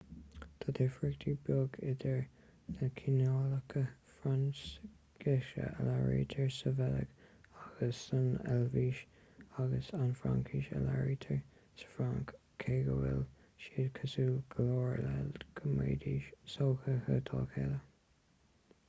tá difríocht bheag idir na cineálacha fraincise a labhraítear sa bheilg agus san eilvéis agus an fhraincis a labhraítear sa fhrainc cé go bhfuil siad cosúil go leor le go mbeidís sothuigthe dá chéile